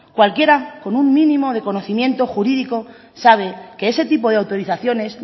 cualquiera con un mínimo de conocimiento jurídico sabe que ese tipo de autorizaciones